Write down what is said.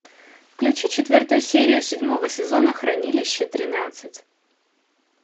включи четвертую серию седьмого сезона хранилище тринадцать